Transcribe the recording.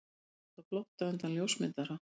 Meiddist á flótta undan ljósmyndara